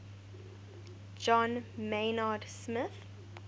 john maynard smith